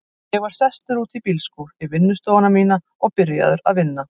Ég var sestur út í bílskúr, í vinnustofuna mína, og byrjaður að vinna.